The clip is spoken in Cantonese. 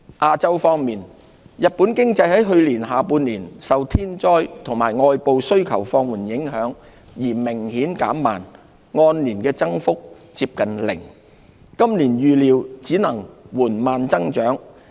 亞洲方面，日本經濟在去年下半年受天災及外部需求放緩影響而明顯減弱，按年增幅接近零，今年預料只能緩慢增長。